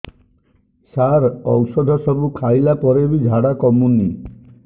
ସାର ଔଷଧ ସବୁ ଖାଇଲା ପରେ ବି ଝାଡା କମୁନି